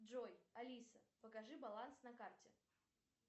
джой алиса покажи баланс на карте